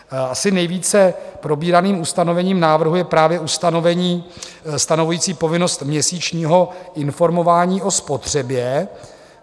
Asi nejvíce probíraným ustanovením návrhu je právě ustanovení stanovující povinnost měsíčního informování o spotřebě.